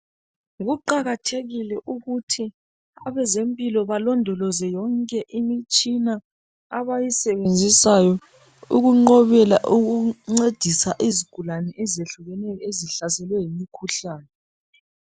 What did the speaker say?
Kuqakathekile ukuthi abezempilo balondoloze yonke imitshina abayisebenzisayo ukunqobela ukuncedisa izigulane ezehlukeneyo ezihlaselwe yimikhuhlane.